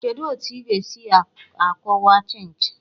Kedu otu ị ga-esi akọwa Chịnchị?